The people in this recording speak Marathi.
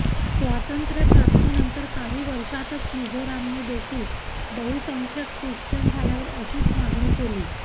स्वातंत्र्यप्राप्तीनंतर काही वर्षातच मिझोरामने देखील बहुसंख्याक ख्रिश्चन झाल्यावर अशीच मागणी केली